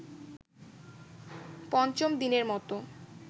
পঞ্চম দিনের মতো